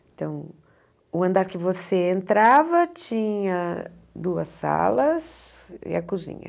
Então, o andar que você entrava tinha duas salas e a cozinha.